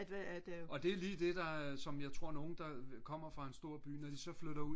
og det er lige det der er som jeg tror nogen der kommer fra en stor by når de så flytter